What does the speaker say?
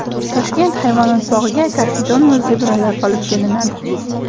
Toshkent hayvonot bog‘iga karkidon va zebralar olib kelinadi.